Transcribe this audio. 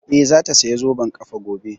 Eh, za ta saya zoben ƙafa gobe